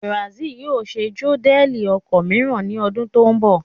Benz yóò ṣe módẹ̀lì ọkọ̀ mìíràn ní ọdún tó ń bọ̀